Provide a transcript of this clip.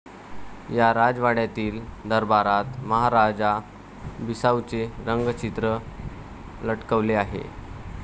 या राजवाड्यातील दरबारात महाराजा बिसाऊंचे रंगचित्र लटकवलेले आहे.